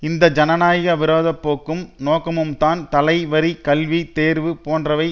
இந்த ஜனநாயக விரோத போக்கும் நோக்கமும்தான் தலை வரி கல்வி தேர்வு போன்றவை